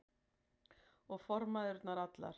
Og formæðurnar allar.